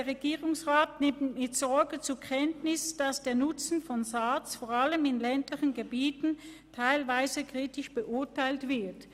«Der Regierungsrat nimmt mit Sorge zur Kenntnis, dass der Nutzen von SARZ vor allem in ländlichen Gebieten teilweise kritisch beurteilt wird.